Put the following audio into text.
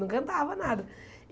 Não cantava nada.